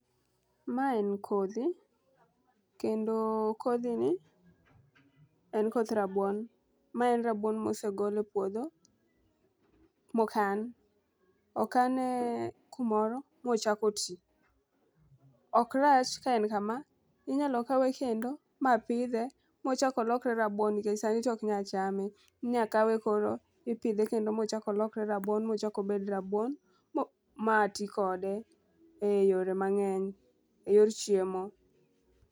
Ma en kodhi kendo kodhi ni en koth rabuon. Ma en rabuon mosegol e puodho mokan. Okane kumoro mochako tii ok rach ka en kama, inyalo kawe kendo ma pidhe mochak olokre rabuon nikech sani tok nya chame. Inya kawe koro ipidhe kendo mochak olokre rabuon mochak obed rabuon mati kode e yore mang'eny e yor chiemo.